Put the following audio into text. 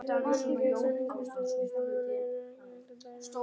Íslensk menning er menning íslensku þjóðarinnar en ekki bara einhvers hluta hennar.